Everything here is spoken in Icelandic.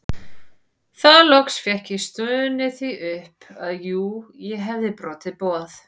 Þá loks fékk ég stunið því upp að jú ég hefði brotið boð